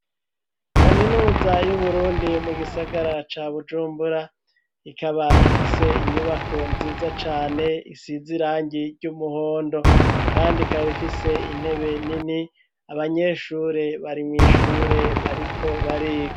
kaminuza y'uburundi mu gisagara ca bujumbura , ikaba ifise inyubako nziza cane , isizirangi ry'umuhondo . Kandi ikaba ifise intebe nini , abanyeshure bari mw 'ishure bariko bariga.